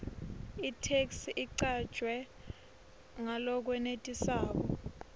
itheksthi icanjwe ngalokwenetisako